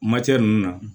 Matɛ ninnu na